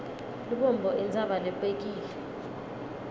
lubombo intsaba lebekile